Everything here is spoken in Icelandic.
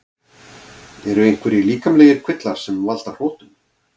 Eru einhverjir líkamlegir kvillar sem valda hrotum?